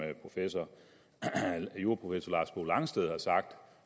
juraprofessor lars bo langsted har sagt